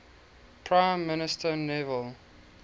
prime minister neville